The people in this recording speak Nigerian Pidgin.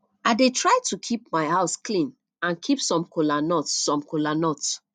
i dey try to keep my house clean and keep some kola nut some kola nut